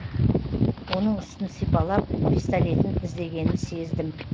оның үстін сипалап пистолетін іздегенін сездім